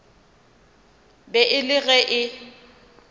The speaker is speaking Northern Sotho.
be e le ge e